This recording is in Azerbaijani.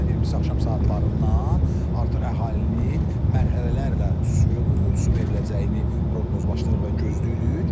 Ayın 20-si axşam saatlarından artıq əhalinin mərhələlərlə su veriləcəyini proqnozlaşdırırıq və gözləyirik.